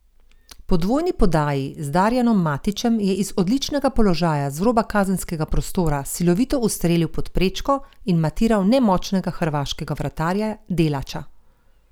Po dvojni podaji z Darijanom Matićem je iz odličnega položaja z roba kazenskega prostora silovito ustrelil pod prečko in matiral nemočnega hrvaškega vratarja Delača.